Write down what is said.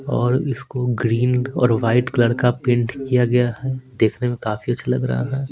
और इसको ग्रीन और वाइट कलर का पेंट किया गया है देखने में काफी अच्छा लग रहा है।